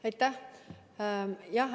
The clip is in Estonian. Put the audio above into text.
Aitäh!